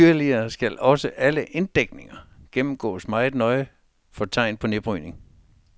Yderligere skal også alle inddækninger gennemgås meget nøje for tegn på nedbrydning.